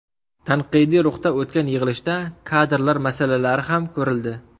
Tanqidiy ruhda o‘tgan yig‘ilishda kadrlar masalalari ham ko‘rildi.